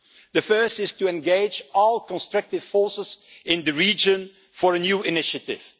The first is to engage all constructive forces in the region in a new initiative.